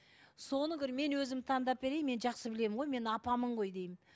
мен өзім таңдап берейін мен жақсы білемін ғой мен апамын ғой деймін